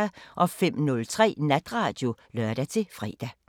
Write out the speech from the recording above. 05:03: Natradio (lør-fre)